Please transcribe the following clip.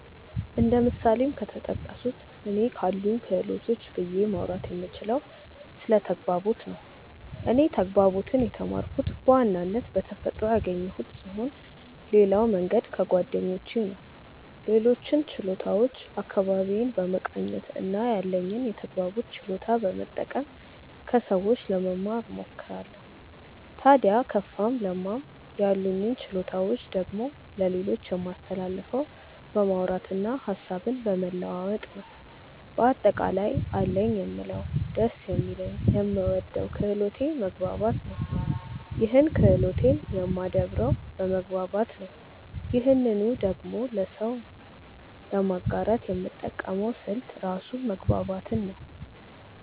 እንደ ምሳሌም ከተጠቀሱት እኔ ካሉኝ ክህሎቶች ብዬ ማውራት የምችለው ስለ ተግባቦት ነው። እኔ ተግባቦትን የተማርኩት በዋናነት በተፈጥሮ ያገኘሁት ስሆን ሌላው መንገድ ከጓደኞቼ ነው። ሌሎችን ችሎታዎች አካባቢዬን በመቃኘት እና ያለኝን የተግባቦት ችሎታ በመጠቀም ከሰዎች ለመማ እሞክራለው። ታድያ ከፋም ለማም ያሉኝን ችሎታዎች ደግሞ ለሌሎች የማስተላልፈው በማውራት እና ሀሳብን በመለዋወጥ ነው። በአጠቃላይ አለኝ የምለው ደስ የሚለኝ የምወደው ክህሎቴ መግባባት ነው ይህን ክህሎቴን የማደብረው በመግባባት ነው ይህንኑ ደግሞ ለሰው ለማጋራት የምጠቀመው ስልት ራሱ መግባባትን ነው።